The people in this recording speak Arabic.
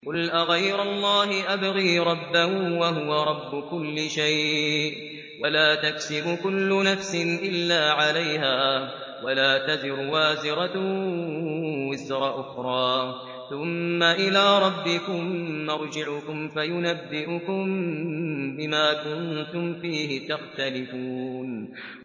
قُلْ أَغَيْرَ اللَّهِ أَبْغِي رَبًّا وَهُوَ رَبُّ كُلِّ شَيْءٍ ۚ وَلَا تَكْسِبُ كُلُّ نَفْسٍ إِلَّا عَلَيْهَا ۚ وَلَا تَزِرُ وَازِرَةٌ وِزْرَ أُخْرَىٰ ۚ ثُمَّ إِلَىٰ رَبِّكُم مَّرْجِعُكُمْ فَيُنَبِّئُكُم بِمَا كُنتُمْ فِيهِ تَخْتَلِفُونَ